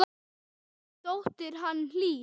Þín dóttir, Hanna Hlín.